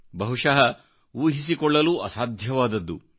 ಬಹಶಃ ಊಹಿಸಿಕೊಳ್ಳಲೂ ಅಸಾಧ್ಯವಾದದ್ದು